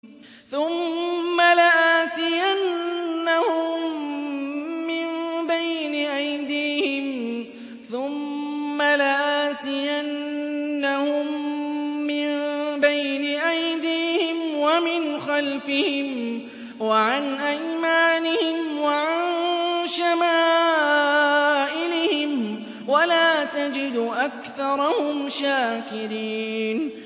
ثُمَّ لَآتِيَنَّهُم مِّن بَيْنِ أَيْدِيهِمْ وَمِنْ خَلْفِهِمْ وَعَنْ أَيْمَانِهِمْ وَعَن شَمَائِلِهِمْ ۖ وَلَا تَجِدُ أَكْثَرَهُمْ شَاكِرِينَ